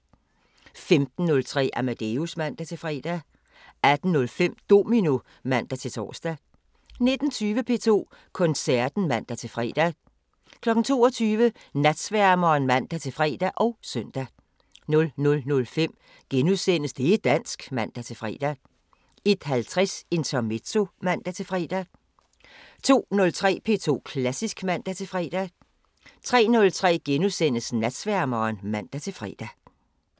15:03: Amadeus (man-fre) 18:05: Domino (man-tor) 19:20: P2 Koncerten (man-fre) 22:00: Natsværmeren (man-fre og søn) 00:05: Det' dansk *(man-fre) 01:50: Intermezzo (man-fre) 02:03: P2 Klassisk (man-fre) 03:03: Natsværmeren *(man-fre)